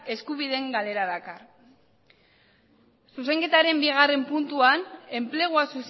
eskubideen galera dakar zuzenketaren bigarren puntuan enplegua